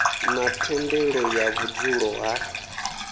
na thendelo ya vhudzulo ha